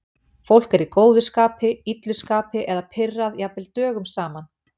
Fólk er í góðu skapi, illu skapi eða pirrað jafnvel dögum saman.